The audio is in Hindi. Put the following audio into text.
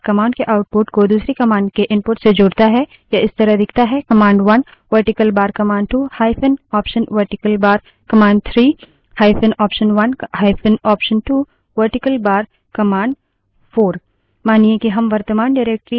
यह इस तरह दिखता है